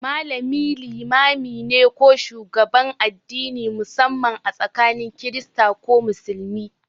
Malami limami ne ko shugaban addini, musamman a tsakanin Kirista ko Musulmi.